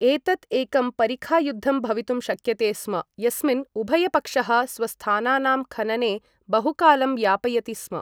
एतत् एकं परिखायुद्धं भवितुम् शक्यते स्म यस्मिन् उभयपक्षः स्वस्थानानां खनने बहुकालं यापयति स्म।